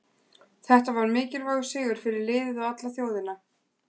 Þetta var mikilvægur sigur fyrir liðið og alla þjóðina.